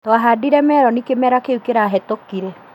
Twahandire meroni kĩmera kĩu kĩrahĩtũkire